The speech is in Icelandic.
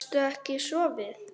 Gastu ekki sofið?